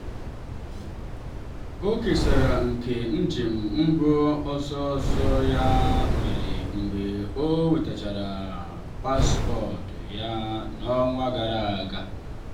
ọ kesara nke njem mbụ sọsọ ya mere mgbe ọ nwetasịrị paspọtụ ya n'ọnwa gara aga.